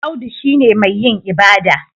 Audu shi ne mai yin ibada